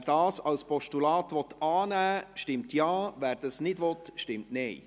Wer diesen Vorstoss als Postulat annehmen will, stimmt Ja, wer dies nicht will, stimmt Nein.